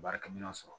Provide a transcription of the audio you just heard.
Baarakɛminɛnw sɔrɔ